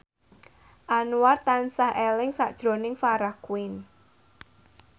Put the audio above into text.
Anwar tansah eling sakjroning Farah Quinn